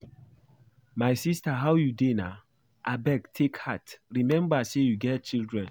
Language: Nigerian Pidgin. My sister how you dey na? Abeg take heart, remember say you get children